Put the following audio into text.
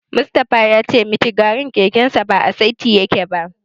Mustapha ya ce mitigarin kekensa ba a saiti yake ba.